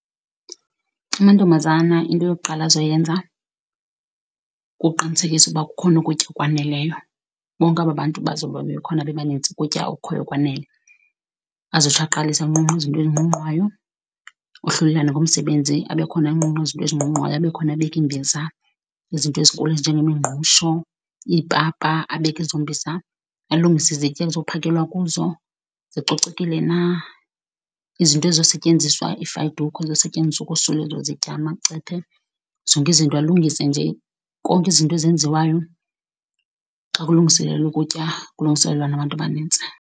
Amantombazana into yokuqala azoyenza kukuqinisekisa uba kukhona ukutya okwaneleyo, bonke aba bantu bazobe bekhona bebanintsi ukutya okukhoyo kwanele. Azotsho aqalise anqunqe izinto ezinqunqwayo, ohlulelane ngomsebenzi abe khona anqunqa izinto ezinqunqwayo, abe khona abeka iimbiza izinto ezinjengemingqusho, iipapa. Abeke ezo mbiza alungise izitya ekuzophakelwa kuzo, zicocekile na izinto ezizosetyenziswa, iifayidukhwe ezizosetyenziswa ukosula ezo zitya, amacephe, zonke izinto. Alungise nje konke, izinto ezenziwayo xa kulungiselelwa ukutya kulungiselelwa nabantu abanintsi.